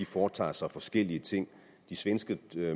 foretager sig forskellige ting de svenske